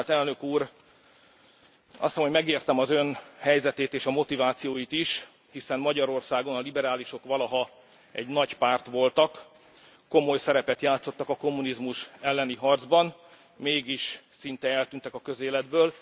Tisztelt Elnök úr, azt hiszem, hogy megértem az Ön helyzetét és a motivációit is, hiszen Magyarországon a liberálisok valaha egy nagy párt voltak, komoly szerepet játszottak a kommunizmus elleni harcban, mégis szinte eltűntek a közéletből.